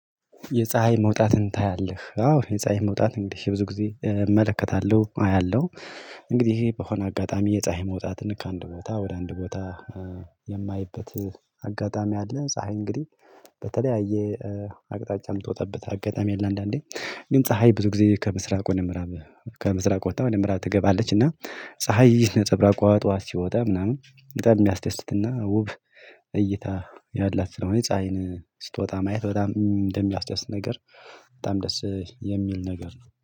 የፀሀይ መውጣትን ታያለህ? አዎ የፀሀይ መውጣት እንግዲህ ብዙ ጊዜ እመለከታለሁ አያለሁ። እንግዲህ በሆነ አጋጣሚ የፀሀይ መውጣትን ከአንድ ቦታ ወደ አንድ ቦታ የማይበት አጋጣሚ አለ። ፀሀይ እንግዲህ በተለያየ አቅጣጫ የምትወጣበት አጋጣሚ አለ። አንዳንዴ ግን ፀሀይ ብዙ ጊዜ ከምስራቅ ወደ ምዕራብ ከምስራቅ ወጥታ ወደ ምዕራብ ትገባለች። እና ፀሀይ ነፀብራቋ ጠዋት ሲወጣ ምናምን በጣም የሚያስደስትና ውብ እይታ ያላት ስለሆነ ፀሀይን ስትወጣ ማየት በጣም እንደሚያስደስት ነገር በጣም ደስ የሚል ነገር ነው